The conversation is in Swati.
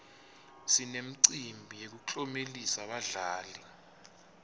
sinemicimbi yekuklomelisa badlali